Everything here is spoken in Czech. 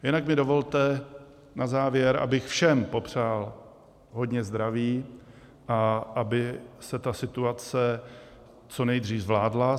Jinak mi dovolte na závěr, abych všem popřál hodně zdraví a aby se ta situace co nejdříve zvládla.